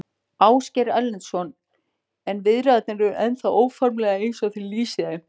Ásgeir Erlendsson: En viðræðurnar eru ennþá óformlegar eins og þið lýsið þeim?